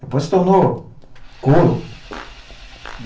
Depois se tornou couro.